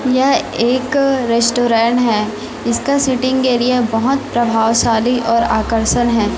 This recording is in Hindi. यह एक रेस्टोरेंट है इसका सीटिंग एरिया बोहोत प्रभावशाली और आकर्षण हैं।